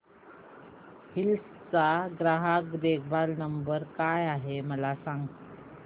hills चा ग्राहक देखभाल नंबर काय आहे मला सांग